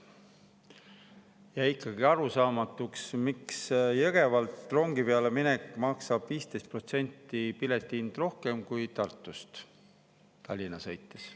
Jäi ikkagi arusaamatuks, miks Jõgevalt rongi peale mineku korral maksab pilet 15% rohkem kui Tartust Tallinna sõites.